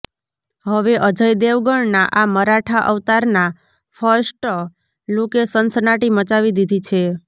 હવે અજય દેવગણનાં આ મરાઠા અવતારનાં ફર્સ્ટ લૂકે સનસનાટી મચાવી દીધી છે